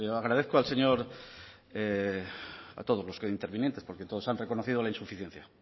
agradezco al señor a todos los intervinientes porque todos han reconocido la insuficiencia